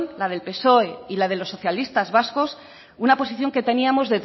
la del psoe y la de los socialistas vascos una posición que teníamos